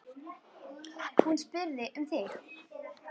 Hún spurði um þig.